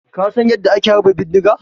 Ka San yanda ake harba bindiga?